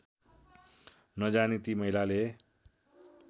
नजानी ती महिलाले